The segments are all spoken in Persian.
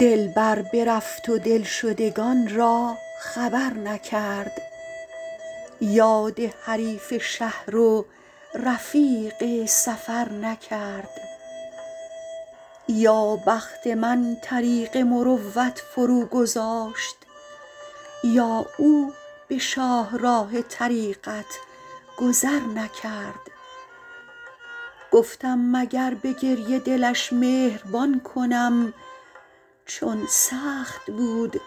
دلبر برفت و دلشدگان را خبر نکرد یاد حریف شهر و رفیق سفر نکرد یا بخت من طریق مروت فروگذاشت یا او به شاهراه طریقت گذر نکرد گفتم مگر به گریه دلش مهربان کنم چون سخت بود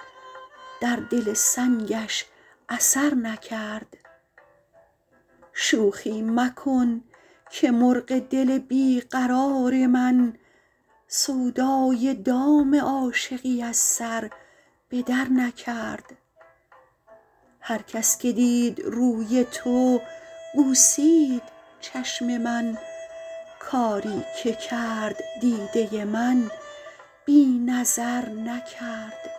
در دل سنگش اثر نکرد شوخی مکن که مرغ دل بی قرار من سودای دام عاشقی از سر به درنکرد هر کس که دید روی تو بوسید چشم من کاری که کرد دیده من بی نظر نکرد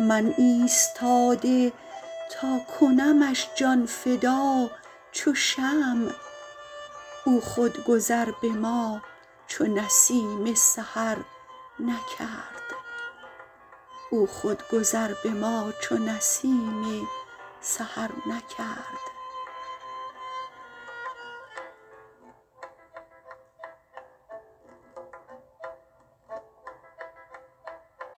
من ایستاده تا کنمش جان فدا چو شمع او خود گذر به ما چو نسیم سحر نکرد